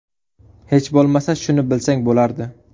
Hech bo‘lmasa shuni bilsang bo‘lardi!